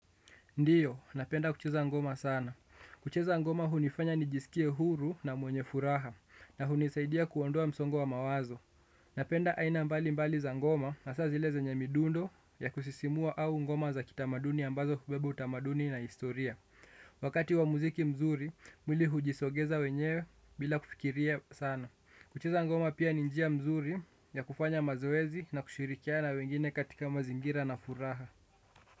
Ndiyo, napenda kucheza ngoma sana. Kucheza ngoma hunifanya nijiskie huru na mwenye furaha na hunisaidia kuondoa msongo wa mawazo. Napenda aina mbali mbali za ngoma hasa zile zenye midundo ya kusisimua au ngoma za kitamaduni ambazo hubeba utamaduni na historia. Wakati wa muziki mzuri, mwili hujisogeza wenyewe bila kufikiria sana. Kucheza ngoma pia ni njia mzuri ya kufanya mazoezi na kushirikiana wengine katika mazingira na furaha.